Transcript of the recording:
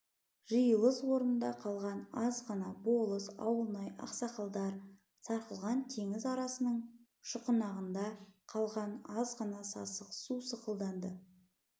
жиылыс орнында қалған азғана болыс ауылнай ақсақалдар сарқылған теңіз арасының шұқанағында қалған азғана сасық су сықылданды